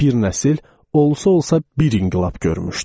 Bir nəsil olsa-olsa bir inqilab görmüşdü.